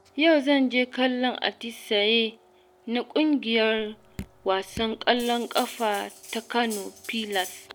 Yau zanje kallon atisaye na ƙungiyar wasan ƙwallon ƙafa ta Kano pilas.